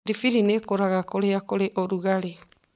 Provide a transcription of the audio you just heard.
Biribiri nĩ ikũraga kũrĩa kũrĩ ũrugarĩ